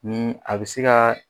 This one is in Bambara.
Ni a bɛ se ka